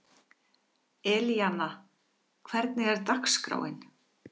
Elíanna, hvernig er dagskráin?